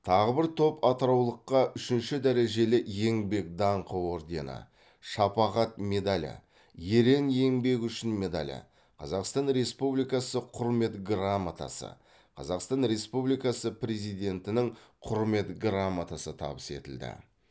тағы бір топ атыраулыққа үшінші дәрежелі еңбек даңқы ордені шапағат медалі ерен еңбегі үшін медалі қазақстан республикасы құрмет грамотасы қазақстан республикасы президентінің құрмет грамотасы табыс етілді